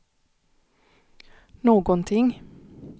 någonting